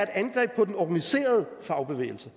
angreb på den organiserede fagbevægelse